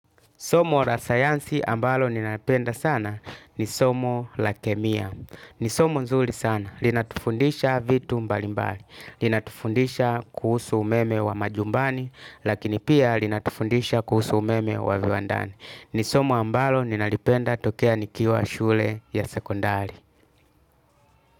Somo la sayansi ambalo ninalipenda sana ni somo la kemia. Ni somo nzuri sana. Linatufundisha vitu mbalimbali. Linatufundisha kuhusu umeme wa majumbani. Lakini pia linatufundisha kuhusu umeme wa viwandani. Ni somo ambalo ninalipenda tokea nikiwa shule ya sekondari.